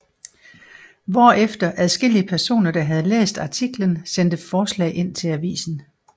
Hvorefter adskillige personer der havde læst artiklen sendte forslag ind til avisen